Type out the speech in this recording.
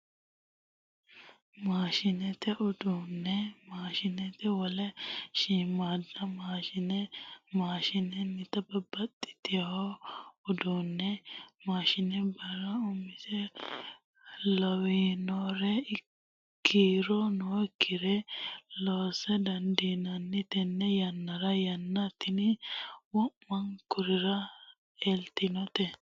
Maashinateni uduune maashinateni wole shiimada mashinna, maashinatenni babbaxewo uduune maashinateni birra imosi lawinore kiiro nooyikkire loosa dandiinanni tene yannara, yanna tini wo'munkurira eltinote.